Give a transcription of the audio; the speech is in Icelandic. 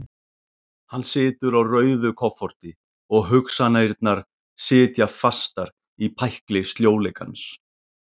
Hann situr á rauðu kofforti og hugsanirnar sitja fastar í pækli sljóleikans.